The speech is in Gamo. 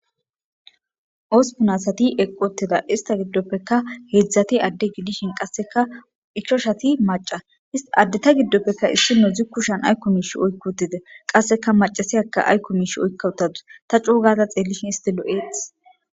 Hosipuni assati eqi uttidda, he assata giddopekka hedzati ade gidishin ichashati macca adeta gidoppe isinozi ayikoka ba kusheni oyiki utisi qasseka macasiyakka ayiko oyika utadusi ta coo gadda xelishini loyosona